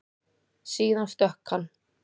Síðan stökk hann.